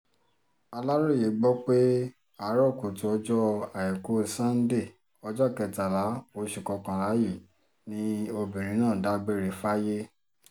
aláròye gbọ́ pé àárò kùtù ọjọ́ àìkú sànńdé ọjọ́ kẹtàlá oṣù kọkànlá yìí ni obìnrin náà dágbére fáyé